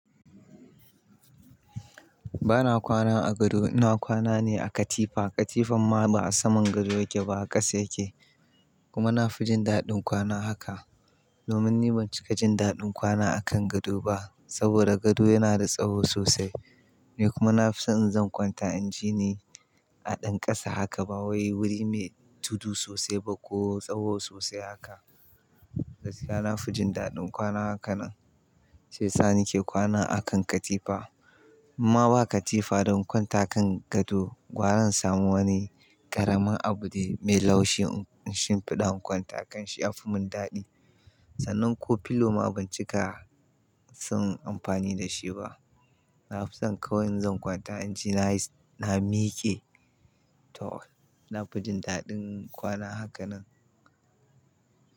Bana kwana a gado, ina kwana ne a katifa. Katifan ma ba a saman gado yake ba, a ƙasa yake. Kuma na fi jin daɗin kwana haka. Domin ni ban cika jin daɗin kwana a kan gado ba saboda gado yana da tsawo sosai. Ni kuma na fi son in zan kwanta, inji ni a ɗan ƙasa haka ba wai wuri mai tudu sosai ba ko tsawo sosai haka. Gaskiya na fi jin daɗin kwana haka nan. Shiyasa ni ke kwana a kan katifa. Imma ba katifa don kwanta kan gado. Gwara na samu wani ƙaramin abu ne mai laushi in shimfiɗa in kwanta a kan shi ya fi mun daɗi. Sannan ko pillow ma ban cika son amfani da shi ba. Na fi son kawai in zan kwanta inji na na miƙe. To, na fi jin daɗin kwana haka nan.